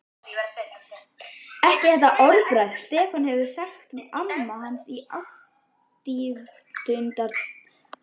Ekki þetta orðbragð, Stefán sagði amma hans í ávítunartón.